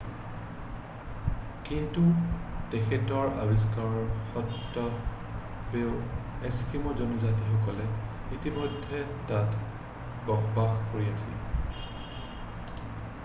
কিন্তু তেখেতৰ আৱিষ্কাৰ সত্ত্বেও এস্কিম' জনজাতিসকলে ইতিমধ্যে তাত বসবাস কৰি আছিল